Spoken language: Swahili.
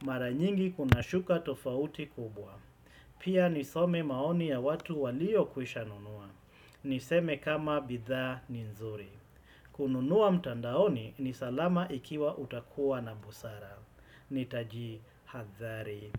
Maranyingi kuna shuka tofauti kubwa. Pia nisome maoni ya watu walio kuisha nunua. Niseme kama bitha ni nzuri. Kununua mtandaoni ni salama ikiwa utakuwa na busara. Nitaji hadari.